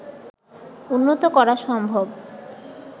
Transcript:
উন্নত করা সম্ভব